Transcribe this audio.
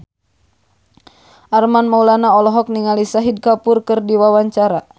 Armand Maulana olohok ningali Shahid Kapoor keur diwawancara